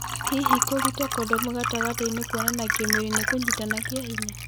Hihi, kũruta kodomũ gatagatĩnĩ kuonana kĩmwĩrĩ nĩ kunyitana kĩa hinya.